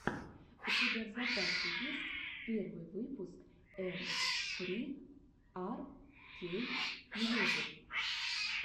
у тебя в запасе есть первый выпуск эм фри ар кей мьюзик